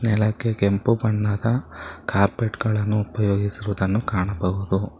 ನೆಲಕ್ಕೆ ಕೆಂಪು ಬಣ್ಣದ ಕಾರ್ಪೆಟ್ ಗಳನ್ನು ಉಪಯೋಗಿಸಿರುವುದು ಕಾಣಬಹುದು.